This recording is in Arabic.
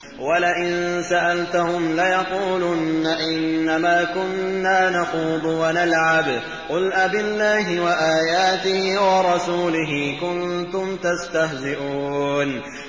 وَلَئِن سَأَلْتَهُمْ لَيَقُولُنَّ إِنَّمَا كُنَّا نَخُوضُ وَنَلْعَبُ ۚ قُلْ أَبِاللَّهِ وَآيَاتِهِ وَرَسُولِهِ كُنتُمْ تَسْتَهْزِئُونَ